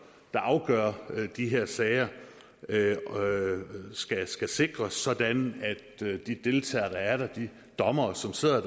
der afgør de her sager skal skal sikres sådan at de deltagere der er der de dommere som sidder